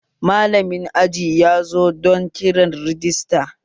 Malamin aji yazo don kiran rajista